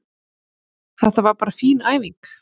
Þetta var bara fín æfing.